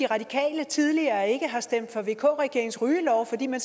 radikale tidligere ikke har stemt for vk regeringens rygelov fordi man